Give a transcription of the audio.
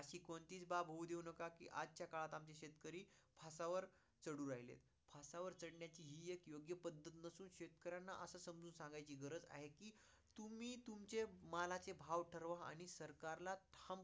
अशी कोणतीच बाब होऊन देऊ नका कि आजच्या काळात शेतकरी फासावर चालू राहिलेत. फासावर चदण्याची ही एक योग्य पद्धत नसून शेतकऱ्याला असा समजून सांगायची गरज आहे कि तुम्ही तुमचे मालाचे भाव ठरवा आणि सरकार ला